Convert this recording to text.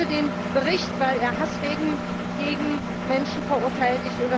Ich unterstütze den Bericht, weil er Hassreden gegen Menschen verurteilt.